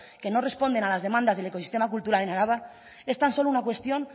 que no responden a las demandas del ecosistema cultural en araba es tan solo una cuestión